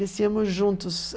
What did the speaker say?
Desciamos juntos.